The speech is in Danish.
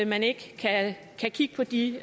man ikke kan kigge på de